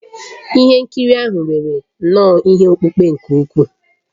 Ihe nkiri ahụ nwere nnọọ ihe okpukpe nke ukwuu